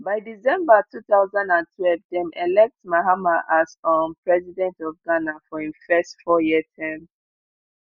by december two thousand and twelve dem elect mahama as um president of ghana for im first fouryear term